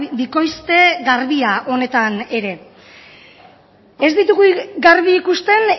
bikoizte garbia honetan ere ez ditugu garbi ikusten